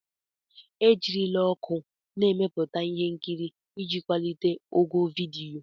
E jirila ọkụ na-emepụta ihe nkiri iji kwalite ogo vidiyo.